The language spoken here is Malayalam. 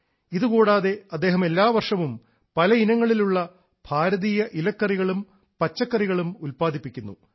ഇതു കൂടാതെ അദ്ദേഹം എല്ലാ വർഷവും പല ഇനങ്ങളിലുള്ള ഭാരതീയ ഇലക്കറികളും പച്ചക്കറികളും ഉല്പാദിപ്പിക്കുന്നു